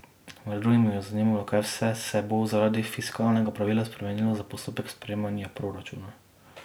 Med drugim jo je zanimalo, kaj vse se bo zaradi fiskalnega pravila spremenilo za postopek sprejemanja proračuna.